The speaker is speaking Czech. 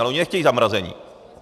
Ale oni nechtějí zamrazení.